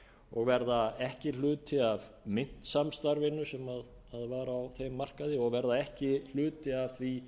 og verða ekki hluti af myntsamstarfinu sem varð á þeim markaði og verða ekki hluti af því